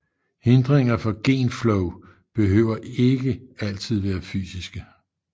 Hindringer for genflow behøver ikke altid være fysiske